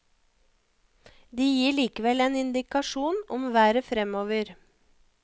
De gir likevel en indikasjon om været fremover.